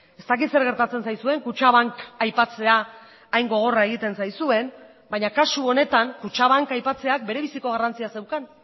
ez dakit zer gertatzen zaizuen kutxabank aipatzea hain gogorra egiten zaizuen baina kasu honetan kutxabank aipatzeak bere biziko garrantzia zeukan